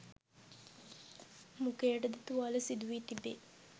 මුඛයට ද තුවාල සිදු වී තිබේ